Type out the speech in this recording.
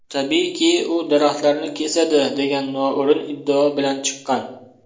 Tabiiyki, u daraxtlarni kesadi” degan noo‘rin iddao bilan chiqqan.